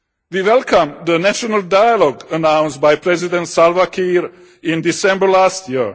We welcome the national dialogue announced by President Salva Kiir in December last year.